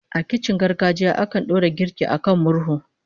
A kicin na gargajiya, akan dora girki a kan murhu